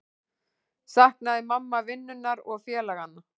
Saknaði mamma vinnunnar og félaganna?